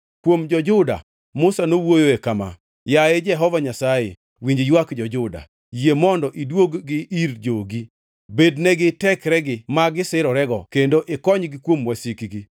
Kuom jo-Juda, Musa nowuoyoe kama: “Yaye Jehova Nyasaye, winj ywak jo-Juda; yie mondo iduog-gi ir jogi. Bednegi tekregi ma gisirorego kendo ikonygi kuom wasikgi!”